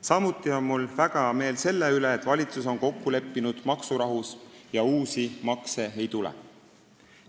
Samuti on mul väga hea meel selle üle, et valitsus on kokku leppinud maksurahus ja uusi makse ei tule.